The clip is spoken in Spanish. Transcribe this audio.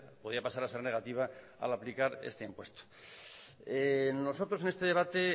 podía pasar a ser negativa al aplicar este impuesto nosotros en este debate